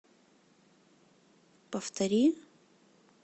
повтори